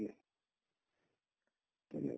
তেনেকুৱা